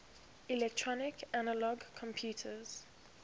electronic analog computers